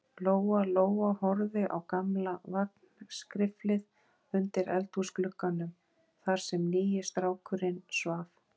Lóa-Lóa horfði á gamla vagnskriflið undir eldhúsglugganum, þar sem nýi strákurinn svaf.